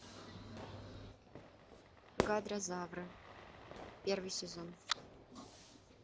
гадрозавры первый сезон